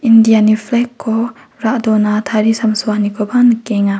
indiani flag-ko ra·dona tarisamsoanikoba nikenga.